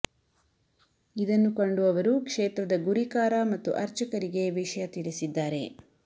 ಇದನ್ನು ಕಂಡು ಅವರು ಕ್ಷೇತ್ರದ ಗುರಿಕಾರ ಮತ್ತು ಅರ್ಚಕರಿಗೆ ವಿಷಯ ತಿಳಿಸಿದ್ದಾರೆ